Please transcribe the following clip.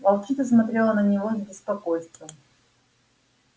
волчица смотрела на него с беспокойством